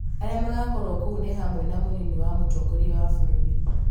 arĩa magakorũo kuo nĩ hamwe na mũnini wa mũtongoria wa bũrũri